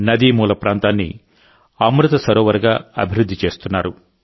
నదీ మూల ప్రాంతాన్ని అమృత్ సరోవర్గా అభివృద్ధి చేస్తున్నారు